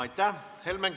Aitäh!